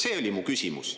See oli mu küsimus.